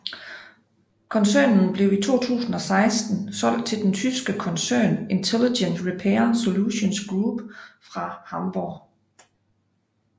Koncernen blev i 2016 solgt til den tyske koncern Intelligent Repair Solutions Group fra Hamburg